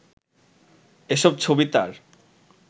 এসব ছবি তাঁর